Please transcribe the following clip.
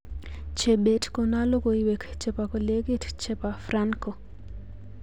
Chebet kono logoiwek chebo kolekit chebo Franco